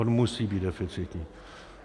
On musí být deficitní.